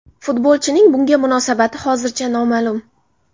Futbolchining bunga munosabati hozircha noma’lum.